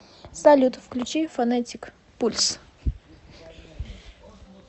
салют включи фонетик пульс